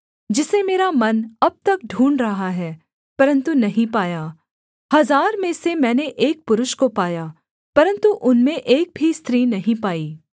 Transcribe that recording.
जिसे मेरा मन अब तक ढूँढ़ रहा है परन्तु नहीं पाया हजार में से मैंने एक पुरुष को पाया परन्तु उनमें एक भी स्त्री नहीं पाई